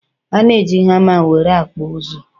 ana eji hama nwere akpu uzu